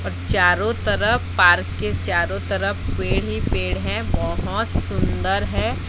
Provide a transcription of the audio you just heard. और चारों तरफ पार्क के चारों तरफ पेड़ ही पेड़ है बहोत सुंदर है।